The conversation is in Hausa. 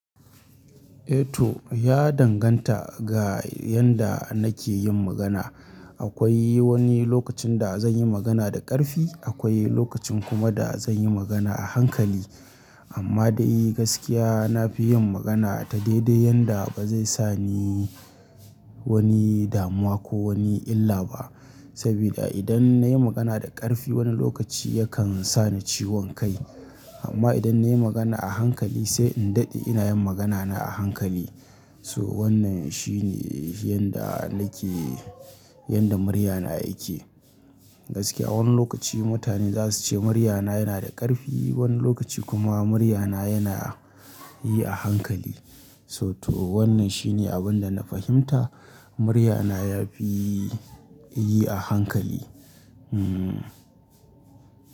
Eh to ya danganta ga yanda nake yin magana. Akwai wani lokacin da zan yi magana da ƙarfi, akwai lokacin kuma da zan yi magana a hankali. Amma da gaskiya na fi yin magana ta daidai yanda ba zai sa ni wani damuwa ko wani illa ba. Saboda idan na yi magana da ƙarfi wani lokaci yakan sa ni ciwon kai. Amma idan na yi magana a hankali sai in daɗe ina yin magana na a hankali. So wannan shine yanda nake, yanda muryana yake. Gaskiya wani lokaci mutane za su ce muryana yana da ƙarfi, wani lokaci kuma muryana yana yi a hankali. So to wannan shine abin da na fahimta muryana ya fi yi a hankali. Hmm.